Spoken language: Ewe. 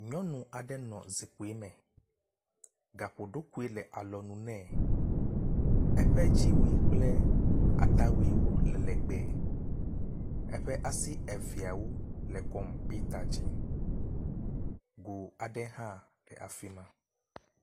Nyɔnu aɖe nɔ zikpui me. Gaƒoɖokui le alɔnu nɛ. Eƒe dziwui kple atawuiwo le legbe. Eƒe asi eveawo le kɔmpita dzi. Go aɖe hã le afi ma.